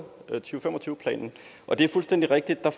to planen og det er fuldstændig rigtigt at